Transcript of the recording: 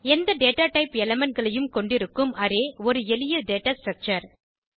எந்த data type elementகளையும் கொண்டிருக்கும் அரே ஒரு எளிய டேட்டா ஸ்ட்ரக்சர்